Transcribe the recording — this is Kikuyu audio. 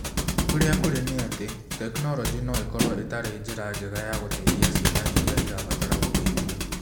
Ũrĩa kũrĩ nĩ atĩ, tekinoronjĩ no ĩkorũo ĩtarĩ njĩra njega ya gũteithia ciana iria irabatara gũteithio